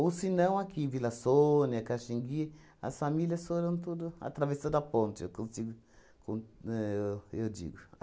se não, aqui em Vila Sônia, Caxingui, as famílias foram tudo... Atravessaram a ponte, eu consigo con éh eu digo.